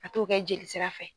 a t'o kɛ jelisira fɛ.